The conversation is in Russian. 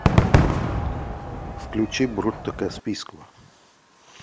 включи брутто каспийского